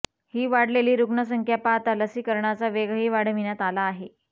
ही वाढलेली रुग्ण संख्या पाहता लसीकरणाचा वेगही वाढविण्यात आला आहे